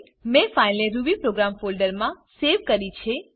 મેં ફાઈલને Ruby program folder મા સેવ કરી છે